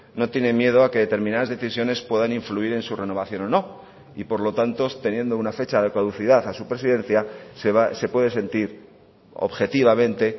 no tiene miedo a que determinadas decisiones puedan influir en su renovación o no y por lo tanto teniendo una fecha de caducidad a su presidencia se puede sentir objetivamente